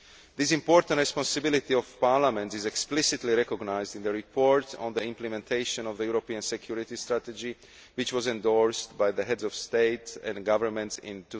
This important responsibility of parliaments is explicitly recognised in the Report on the Implementation of the European Security Strategy, which was endorsed by Heads of State and Government in